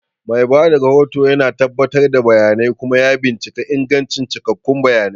Mai ba da rahoto yana tabbatar da bayanai kuma bincika ingancin cikakkun bayanai.